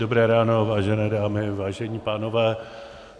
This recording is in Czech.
Dobré ráno, vážené dámy, vážení pánové.